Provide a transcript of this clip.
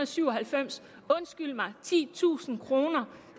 syv og halvfems undskyld mig titusind kroner